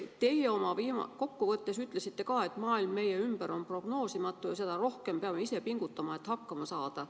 Teie oma kokkuvõttes ütlesite ka, et maailm meie ümber on prognoosimatu ja seda rohkem peame ise pingutama, et hakkama saada.